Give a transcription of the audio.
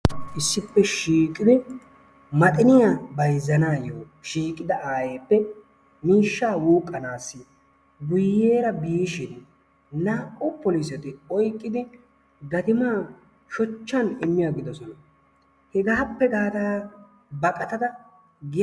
Issippe shiiqidi maxiniyaa bayzana shiiqida ayeeppe miishshaa wuuqqanasi guyyeera biishin naa"u polisetti oyqqidi gatimaan shoochchaa immi aggidoosona. Hegaappe gaada baqattada giyaa